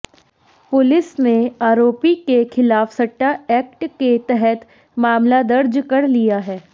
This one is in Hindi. पुलिस ने आरोपी के खिलाफ सट्टा एक्ट के तहता मामला दर्ज कर लिया है